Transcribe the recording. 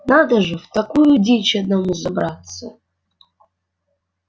надо же в такую дичь одному забраться